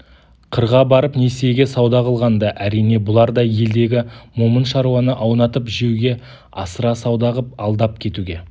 қырға барып несиеге сауда қылғанда әрине бұлар да елдегі момын шаруаны аунатып жеуге асыра сауда қып алдап кетуге